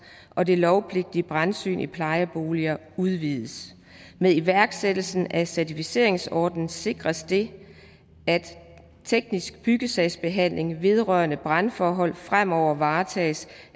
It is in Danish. og det lovpligtige brandsyn i plejeboliger udvides med iværksættelsen af certificeringsordningen sikres det at teknisk byggesagsbehandling vedrørende brandforhold fremover varetages